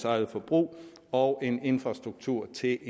eget forbrug og en infrastruktur til